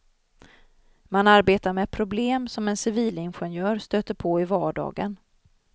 Man arbetar med problem som en civilingenjör stöter på i vardagen.